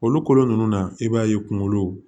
Olu kolo nunnu na i b'a ye kungolo